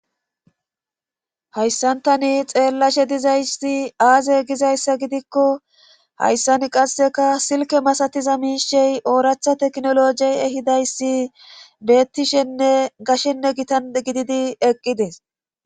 hayssantani xeellashe dizayssi aaze gizayssa gidikko hayssan qasseka silke masatiza miishey ooracha teknolojey ehidayssi bettishenne gashshenne gitan gididi eqqides